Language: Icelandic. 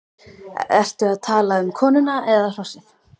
Ertu að tala um konuna eða hrossið?